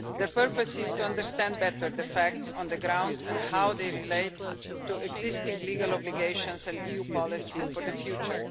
The purpose is to understand better the facts on the ground and how they relate to existing legal obligations and EU policy for the future.